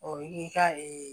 O ye ka ee